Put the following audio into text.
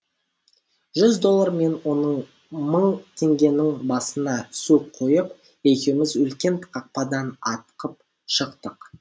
жүз доллар мен он мың теңгенің басына су құйып екеуміз үлкен қақпадан атқып шықтық